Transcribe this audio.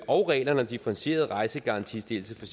og reglerne om differentieret rejsegarantistillelse for